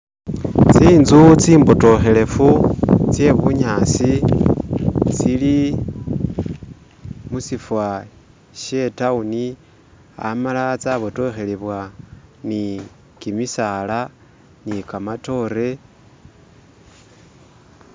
Tsi'nzu tsi mbotokhelefu tse bunyaasi tsili musifa she town amala tsa botokhelebwa ne kimisaala ni kamatoore.